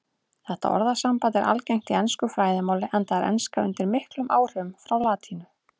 Þetta orðasamband er algengt í ensku fræðimáli enda er enska undir miklum áhrifum frá latínu.